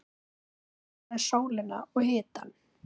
Hún elskaði sólina og hitann.